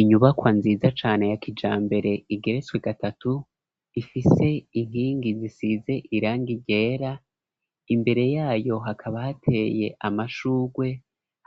Inyubakwa nziza cane ya kijambere igeretswe gatatu ,ifise inkingi zisize irangi ryera, imbere yayo hakaba hateye amashugwe